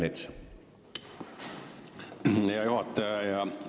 Aitäh, hea juhataja!